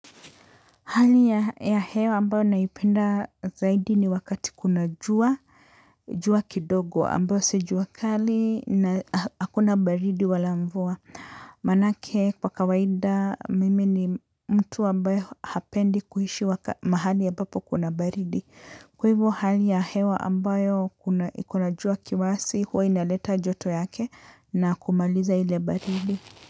Hali ya hewa ambayo naipenda zaidi ni wakati kuna jua, jua kidogo ambayo si jua kali na hakuna baridi wala mvua. Maanake kwa kawaida mimi ni mtu ambaye hapendi kuishi mahali ambapo kuna baridi. Kwa hivo hali ya hewa ambayo kuna jua kiasi huwa inaleta joto yake na kumaliza ile baridi.